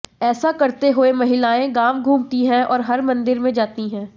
ऐसा करते हुए महिलाएं गांव घूमती हैं और हर मंदिर में जाती हैं